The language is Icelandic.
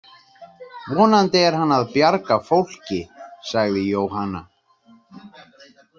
Vonandi er að hann að bjarga fólki, sagði Jóhanna.